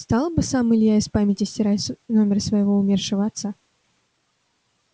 стал бы сам илья из памяти стирать номер своего умершего отца